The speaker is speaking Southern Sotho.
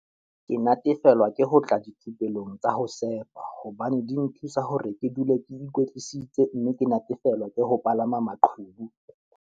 Ke natefelwa ke ho tla dithupelong tsa ho sefa hobane di nthusa hore ke dule ke ikwetlisitse mme ke natefelwa ke ho palama maqhubu.